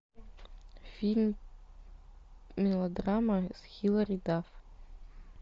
фильм мелодрама с хилари дафф